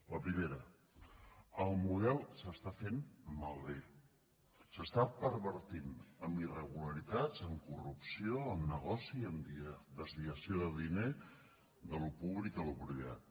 la primera el model s’està fent malbé s’està pervertint amb irregularitats amb corrupció amb negoci i amb desviació de diner d’allò públic a allò privat